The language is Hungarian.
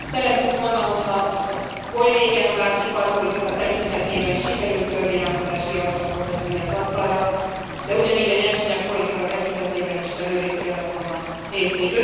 Szerettük volna, hogyha az oly régen várt iparpolitika tekintetében sikerül törvényalkotási javaslatot letenni az asztalra, de ugyanígy a nyersanyag politika tekintetében is előrébb kellett volna lépni.